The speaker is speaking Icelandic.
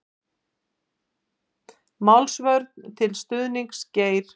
Málsvörn til stuðnings Geir